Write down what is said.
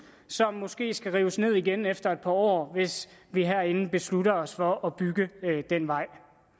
som måske skal rives ned igen efter et par år hvis vi herinde beslutter os for at bygge den vej